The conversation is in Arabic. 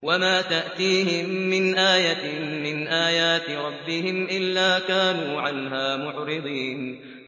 وَمَا تَأْتِيهِم مِّنْ آيَةٍ مِّنْ آيَاتِ رَبِّهِمْ إِلَّا كَانُوا عَنْهَا مُعْرِضِينَ